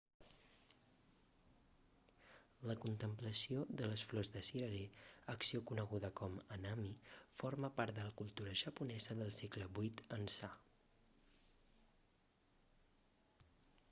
la contemplació de les flors de cirerer acció coneguda com hanami forma part de la cultura japonesa del segle viii ençà